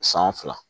San fila